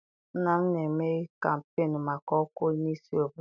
Nna m na-eme kampeenu maka ọkwa onye isi obodo.